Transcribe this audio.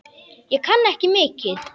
Ég kann ekki mikið.